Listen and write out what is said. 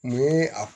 Mun ye a